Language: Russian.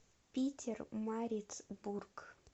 питермарицбург